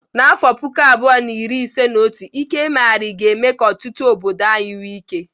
N'afọ puku abuo na iri ise na otu, ike mmeghari ga-eme ka ọtụtụ obodo anyị nwee ike.